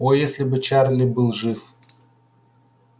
о если бы чарли был жив